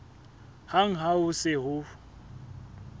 hang ha ho se ho